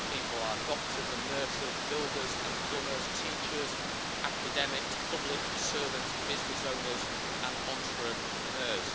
These people are doctors and nurses, builders and plumbers, teachers, academics, public servants, business owners and entrepreneurs.